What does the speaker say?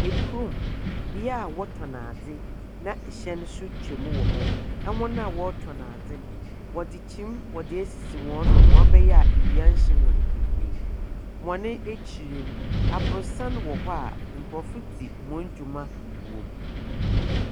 Ɛkurom, bea a wɔtɔn adze na hyɛn nso twan wɔ hɔ. Ahɔn a wɔtɔn adze no, wɔdze kyim asisi wɔn do ma ɔbɛyɛ a awia renhyɛ wɔn bebree. Wɔn akyir no, abrɔsan wɔ hɔ a, nkrɔfo dzi wɔn dwuma wɔ mu.